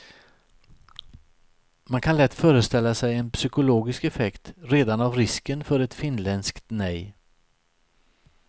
Man kan lätt föreställa sig en psykologisk effekt redan av risken för ett finländskt nej.